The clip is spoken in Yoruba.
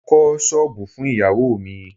Mo kọ́ ṣọ́bùù fún ìyáwó mi.